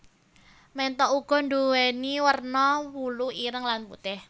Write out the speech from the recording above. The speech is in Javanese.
Ménthok uga nduwèni werna wulu ireng lan putih